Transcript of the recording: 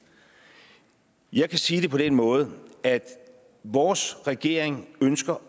jeg kan sige det på den måde at vores regering ønsker